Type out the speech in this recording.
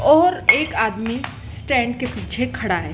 और एक आदमी स्टैंड के पीछे खड़ा है।